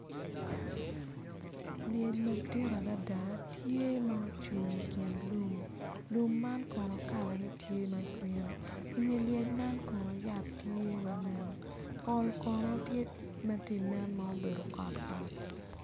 Lyec madit adada tye ma ocung i kin lum lum man kono kalane tye ma grin i nge lyec man kono yat tye ma nen pol kono tye ma tye inen ma obedo kotkot.